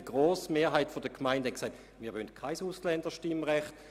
Die grosse Mehrheit der Gemeinden wollte kein Ausländerstimmrecht.